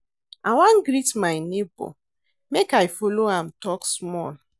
I wan greet my nebor make I folo am tok small.